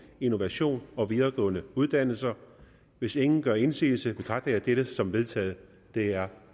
innovation og videregående uddannelser hvis ingen gør indsigelse betragter jeg dette som vedtaget det er